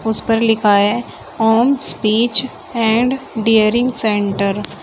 इस पर लिखा है home speech and hearing centre.